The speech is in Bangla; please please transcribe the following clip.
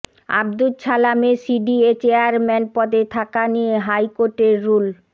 আবদুচ ছালামের সিডিএ চেয়ারম্যান পদে থাকা নিয়ে হাইকোর্টের রুল